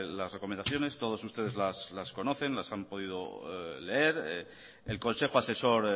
las recomendaciones todos ustedes las conocen las han podido leer el consejo asesor